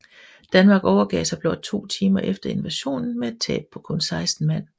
Danmark overgav sig blot to timer efter invasionen med et tab på kun seksten mand